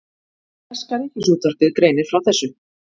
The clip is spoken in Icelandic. Breska ríkisútvarpið greinir frá þessu